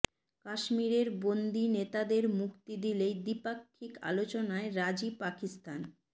কাশ্মীরের বন্দি নেতাদের মুক্তি দিলেই দ্বিপাক্ষিক আলোচনায় রাজি পাকিস্তান